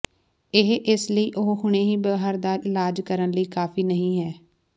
ਇਹ ਇਸ ਲਈ ਉਹ ਹੁਣੇ ਹੀ ਬਾਹਰ ਦਾ ਇਲਾਜ ਕਰਨ ਲਈ ਕਾਫ਼ੀ ਨਹੀ ਹੈ